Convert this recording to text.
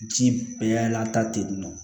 Ji bɛɛ lanta ten yen nɔ